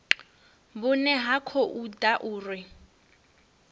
vhune ha khou ḓa uri